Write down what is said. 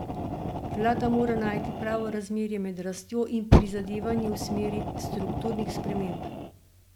Vlada mora najti pravo razmerje med rastjo in prizadevanji v smeri strukturnih sprememb.